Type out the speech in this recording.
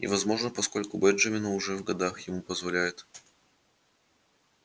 и возможно поскольку бенджамин уже в годах ему позволяет